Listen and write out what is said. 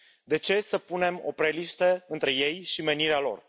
De ce să punem opreliște între ei și menirea lor?